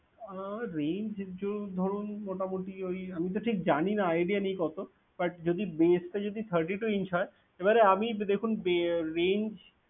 আহ range ধরুন মোটামুটি ওই আমি তো ঠিক জানিনা idea নেই কত but যদি base টা thirty-two inch হয় এবারে আমি দেখুন range